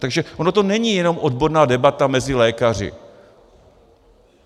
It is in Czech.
Takže ono to není jenom odborná debata mezi lékaři.